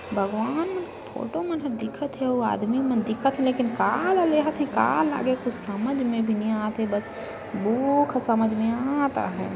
भगवान फोटो मन ह दिखत हे वो आदमी मन दिखथ हे लेकिन का ला लेहथे का लेंगे कुछ समझ भी नहीं आथे बस बुक समझ में आत हय।